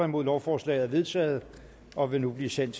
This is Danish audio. nul lovforslaget er vedtaget og vil nu blive sendt